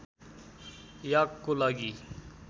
याकको लागि